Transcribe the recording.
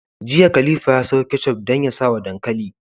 Jiya khalifa ya siyo ketchup dan ya sawa dankali